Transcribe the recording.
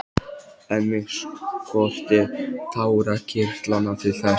En mig skortir tárakirtlana til þess.